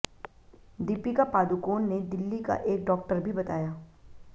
दीपिका पादुकोण ने दिल्ली का एक डॉक्टर भी बताया